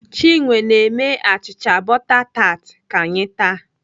Chinwe na-eme achịcha bọta tat ka anyị taa.